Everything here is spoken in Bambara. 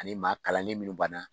Ani maa kalanlen minnu banna.